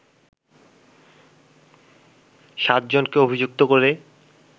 সাতজনকে অভিযুক্ত করে